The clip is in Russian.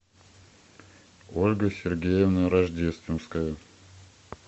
ольга сергеевна рождественская